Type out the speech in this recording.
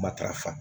Matarafa